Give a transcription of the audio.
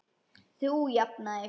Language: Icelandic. Þú jafnar þig.